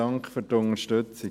Dank für die Unterstützung.